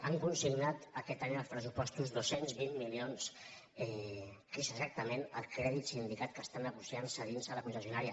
han consignat aquest any als pressupostos dos cents i vint milions que és exactament el crèdit sindicat que està negociant·se a dins de la concessionària